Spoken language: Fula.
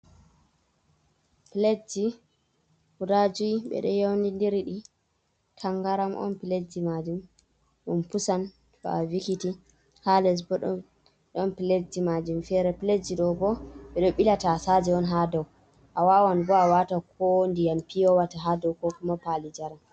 Pletji guda jui ɓe ɗo yaunindir ɗi, tangaram on piletji maajum, ɗum pusan to a vikiti. Ha les bo don piletji maajum fere. Piletji ɗo bo, ɓe ɗo ɓila taasaje on ha dou. A wawan bo a waata ko ndiyam piyo wata ha dou ko kuma paali njaram.